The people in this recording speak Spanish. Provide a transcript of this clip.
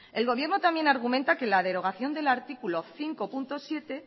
el gobierno también argumenta que la derogación del artículo cinco punto siete